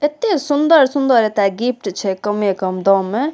एत्ते सुंदर-सुंदर ए त गिफ्ट छे कमे-कम दाम में।